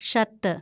shirt